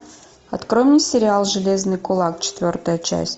открой мне сериал железный кулак четвертая часть